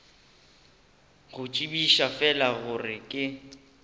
go tsebiša fela gore ke